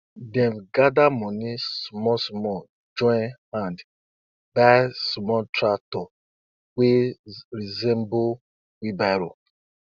my mother sickle wey she sickle wey she dey use harvest never dey rust and na because she dey um clean am after she use um am.